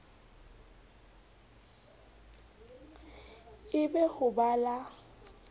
e be ho ba la